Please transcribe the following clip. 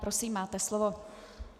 Prosím, máte slovo.